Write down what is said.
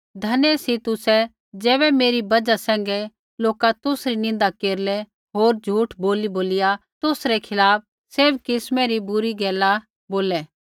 धन्य सी तुसै ज़ैबै मेरी बजहा सैंघै लोका तुसरी निन्दा केरलै होर झ़ुठ बोलीबोलिया तुसरै खिलाफ़ सैभ किस्मा री बुरी गैला बोलै